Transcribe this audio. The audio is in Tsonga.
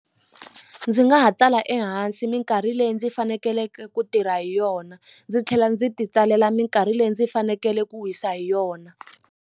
Ndzi nga ha tsala ehansi minkarhi leyi ndzi fanekeleke ku tirha hi yona ndzi tlhela ndzi ti tsalela minkarhi leyi ndzi fanekele ku wisa hi yona.